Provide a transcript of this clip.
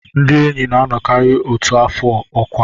Ndị enyi na-anọkarị otu afọ ọkwa